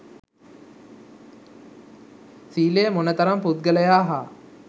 සීලය මොන තරම් පුද්ගලයා හා